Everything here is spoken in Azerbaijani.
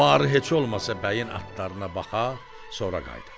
"Barı heç olmasa bəyin atlarına baxa, sonra qayıdaq."